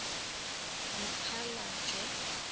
mokgalajwe